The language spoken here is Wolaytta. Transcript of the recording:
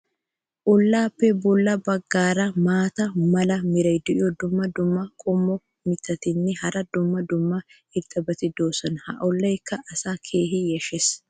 olaappe bola bagaara maata mala meray diyo dumma dumma qommo mitattinne hara dumma dumma irxxabati de'oosona. ha olaykka asaa keehi yashshees.